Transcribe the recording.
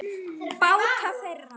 Báta þeirra